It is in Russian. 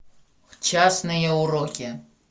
частные уроки